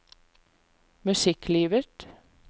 musikklivet